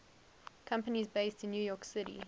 companies based in new york city